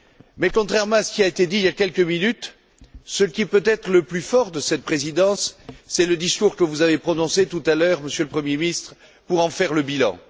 Mais, contrairement à ce qui a été dit il y a quelques minutes, ce qui est peut être le temps fort de cette Présidence, c'est le discours que vous avez prononcé tout à l'heure, Monsieur le Premier ministre, pour en faire le bilan.